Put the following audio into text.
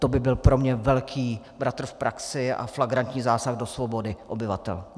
To by byl pro mě velký bratr v praxi a flagrantní zásah do svobody obyvatel.